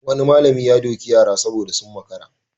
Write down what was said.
Wani malami ya doki yara saboda sun makara.